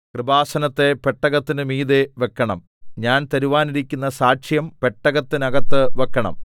കൃപാസനത്തെ പെട്ടകത്തിന് മീതെ വെക്കണം ഞാൻ തരുവാനിരിക്കുന്ന സാക്ഷ്യം പെട്ടകത്തിനകത്ത് വെക്കണം